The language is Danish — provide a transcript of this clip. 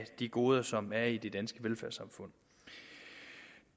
de goder som er i det danske velfærdssamfund